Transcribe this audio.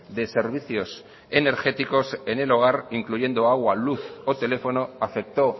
de servicios energéticos en el hogar incluyendo agua luz o teléfono afectó